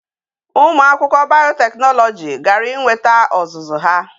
Umu akwukwo biotechnology gara i nweta ozuzu ha